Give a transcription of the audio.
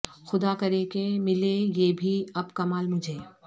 خدا کرے کہ ملے یہ بھی اب کمال مجھے